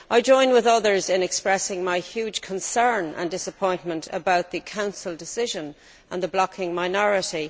I join with others in expressing my huge concern and disappointment about the Council decision and the blocking minority.